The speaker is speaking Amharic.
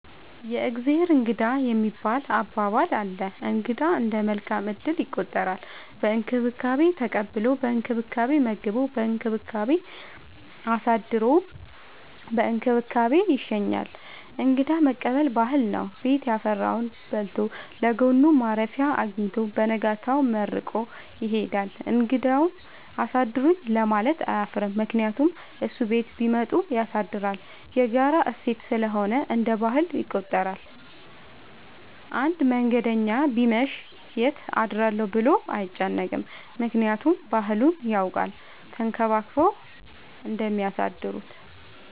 የእግዜር እንግዳ የሚባል አባባል አለ። እንግዳ እንደ መልካም እድል ይቆጠራል። በእንክብካቤ ተቀብሎ በእንክብካቤ መግቦ በእንክብካቤ አሳድሮ በእንክብካቤ ይሸኛል። እንግዳ መቀበል ባህል ነው። ቤት ያፈራውን በልቶ ለጎኑ ማረፊያ አጊኝቶ በነጋታው መርቆ ይሄዳል። እንግዳውም አሳድሩኝ ለማለት አያፍርም ምክንያቱም እሱም ቤት ቢመጡ ያሳድራል። የጋራ እሴት ስለሆነ እንደ ባህል ይቆጠራል። አንድ መንገደኛ ቢመሽ ይት አድራለሁ ብሎ አይጨነቅም። ምክንያቱም ባህሉን ያውቃል ተንከባክበው እንደሚያሳድሩት።